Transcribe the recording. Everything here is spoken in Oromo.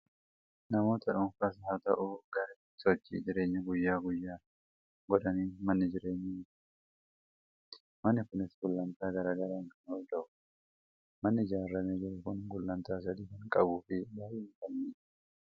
Namoota dhuunfaas haa ta'u gareen sochii jireenyaa guyyaa guyyaan godhaniin mana jireenyaa ni ijaaru. Manni kuns gulantaa garaa garaa kan hordofudha. Manni ijaaramee jiru kun gulantaa sadii kan qabuu fi baay'ee kan miidhagudha!